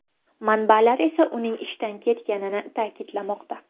Manbalar esa uning ishdan ketganini ta’kidlamoqda.